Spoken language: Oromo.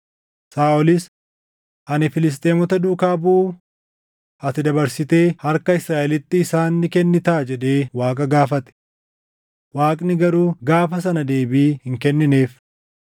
Saaʼolis, “Ani Filisxeemota duukaa buʼuu? Ati dabarsitee harka Israaʼelitti isaan ni kennitaa?” jedhee Waaqa gaafate. Waaqni garuu gaafa sana deebii hin kennineef.